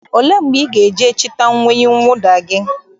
Ole mgbe ị ga-eje chịta uwe mwụda gị?